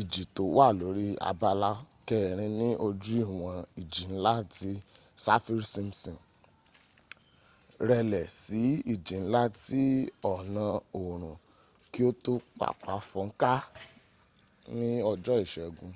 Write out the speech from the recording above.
ìjì to wà lórí abala 4 ní ojú ìwọ̀n ìjì nla ti saffir-simpson rẹlẹ̀ sí ìjì nla ti ọ̀nà òòorùn kí o to papà fónká ní ọjọ́ ìségun